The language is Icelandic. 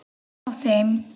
Hjá þeim.